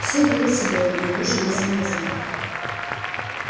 всё было седое но лужи не замерзали